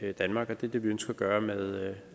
af danmark og det er det vi ønsker at gøre med